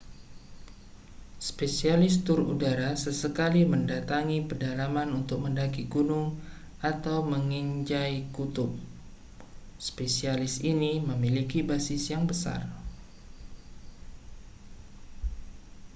spesialis tur udara sesekali mendatangi pedalaman untuk mendaki gunung atau menginjai kutub spesialis ini memiliki basis yang besar